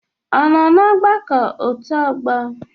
Ọnọ n'agbakọ otu ọgbọ?